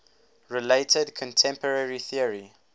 related contemporary theory